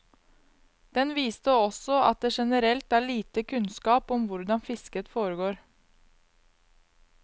Den viste også at det generelt er lite kunnskap om hvordan fisket foregår.